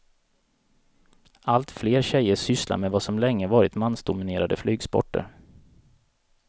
Allt fler tjejer sysslar med vad som länge varit mansdominerade flygsporter.